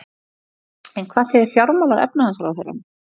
En hvað segir fjármála- og efnahagsráðherrann?